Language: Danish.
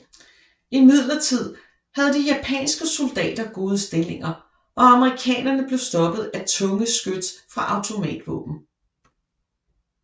Imidlertid havde de japanske soldater gode stillinger og amerikanerne blev stoppet af tunge skyts fra automatvåben